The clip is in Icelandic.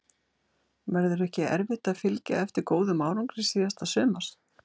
Verður ekki erfitt að fylgja eftir góðum árangri síðasta sumars?